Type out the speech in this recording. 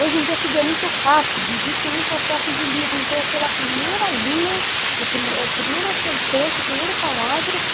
Hoje em dia tudo é muito rápido, existe muita oferta de livro, então é pela primeira linha, o primeira a primeira sentença, o primeiro parágrafo,